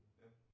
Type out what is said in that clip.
Ja